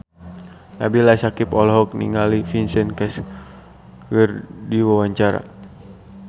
Nabila Syakieb olohok ningali Vincent Cassel keur diwawancara